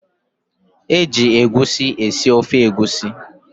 E ji egusi esi ofe egusi.